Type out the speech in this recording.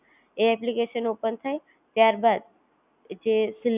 તમે પહેલા પણ જણાવી આપ્યો કે તમારા